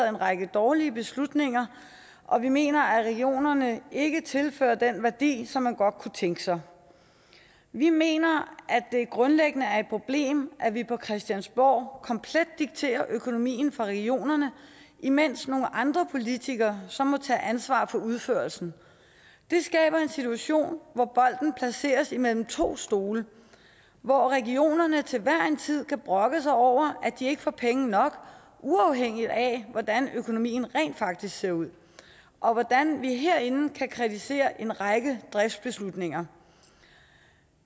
en række dårlige beslutninger og vi mener at regionerne ikke tilfører den værdi som man godt kunne tænke sig vi mener at det grundlæggende er et problem at vi på christiansborg komplet dikterer økonomien for regionerne imens nogle andre politikere så må tage ansvaret for udførelsen det skaber en situation hvor bolden placeres imellem to stole hvor regionerne til hver en tid kan brokke sig over at de ikke får penge nok uafhængigt af hvordan økonomien rent faktisk ser ud og hvor vi herinde kan kritisere en række driftsbeslutninger